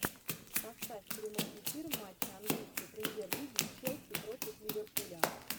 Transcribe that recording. поставь прямой эфир матча английской премьер лиги челси против ливерпуля